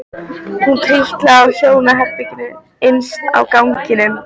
Hún trítlaði að hjónaherberginu innst á ganginum.